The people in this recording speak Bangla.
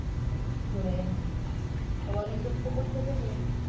গনপুরে হ্যাঁ তা অনেকদূর তো পড়ছে গো